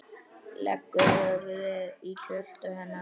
Leggur höfuðið í kjöltu hennar.